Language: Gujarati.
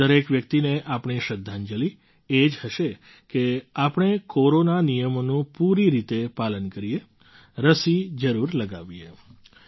આવી દરેક વ્યક્તિને આપણી શ્રદ્ધાંજલી એ જ હશે કે આપણે કોરોના નિયમોનું પૂરી રીતે પાલન કરીએ રસી જરૂર લગાવીએ